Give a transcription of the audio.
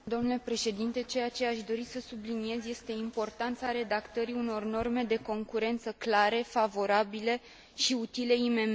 Ceea ce aș dori să subliniez este importanța redactării unor norme de concurență clare, favorabile și utile IMM urilor.